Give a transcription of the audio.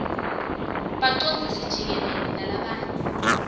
bacondzisi jikelele nalabanye